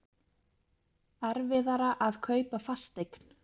Erfiðara að kaupa fasteign